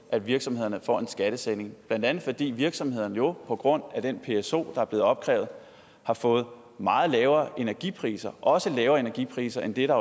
at virksomhederne får en skattesænkning blandt andet fordi virksomhederne jo på grund af den pso der er blevet opkrævet har fået meget lavere energipriser også lavere energipriser end det